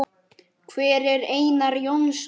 Hver er Einar Jónsson?